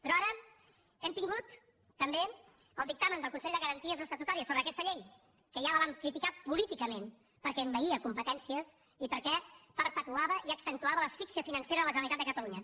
però ara hem tingut també el dictamen del consell de garanties estatutàries sobre aquesta llei que ja la vam criticar políticament perquè envaïa competències i perquè perpetuava i accentuava l’asfíxia financera de la generalitat de catalunya